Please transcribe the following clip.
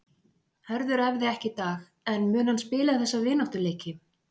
Hörður æfði ekki í dag en mun hann spila þessa vináttuleiki?